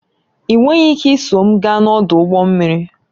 Ị nweghị ike iso m gaa n'ọdụ ụgbọ mmiri